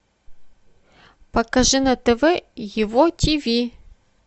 покажи на тв его тиви